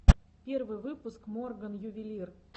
первый выпуск морган ювелир